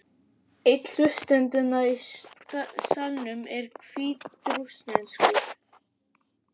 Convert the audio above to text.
Einn hlustendanna í salnum er hvítrússneskur.